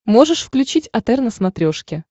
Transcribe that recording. можешь включить отр на смотрешке